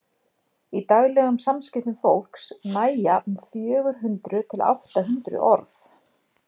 í daglegum samskiptum fólks nægja um fjögur hundruð til átta hundruð orð